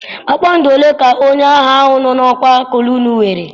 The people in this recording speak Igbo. Kpakpando ole ka onye agha nọ n'okwa kolonelụ nwere?